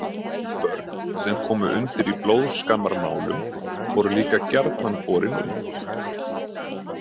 Börn sem komu undir í blóðskammarmálum voru líka gjarnan borin út.